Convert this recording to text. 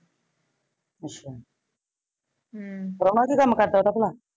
ਅੱਛਾ ਹਮ ਪ੍ਰਾਹੁਣਾ ਕੀ ਕੰਮ ਕਰਦਾ ਉਂਦਾ ਭਲਾ?